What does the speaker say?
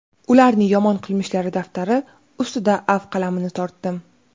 ularni yomon qilmishlari daftari ustiga afv qalamini tortdim.